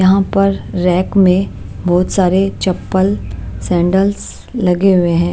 यहां पर रैक में बहुत सारे चप्पल सैंडल्स लगे हुए हैं।